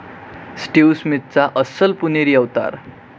Steve स्मिथचा अस्सल पुणेरी अवतार